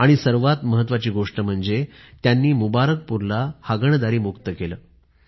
आणि सर्वात महत्वाची गोष्ट म्हणजे त्यांनी मुबारकपूरला हागणदारी मुक्त केलं